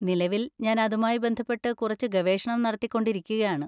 നിലവിൽ ഞാൻ അതുമായി ബന്ധപ്പെട്ട് കുറച്ച് ഗവേഷണം നടത്തിക്കൊണ്ടിരിക്കുകയാണ്.